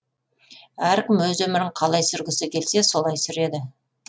әркім өз өмірін қалай сүргісі келсе солай сүреді